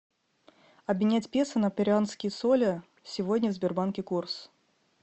обменять песо на перуанские соли сегодня в сбербанке курс